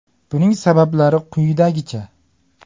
Buning sabablari quyidagicha.